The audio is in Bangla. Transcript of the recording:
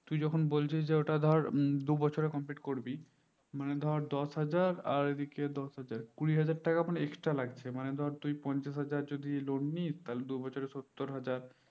তুই যখন বলছিস যে ওটা ধর দুবছরে complete করবি হম মানে ধর দশ হাজার আর এদিকে দশ হাজার কুড়ি হাজার টাকা ওখানে extra লাগছে মানে ধর তুই পঞ্চাশ হাজার যদি loan নিস্ তাহলে দুবছরে সত্তর হাজার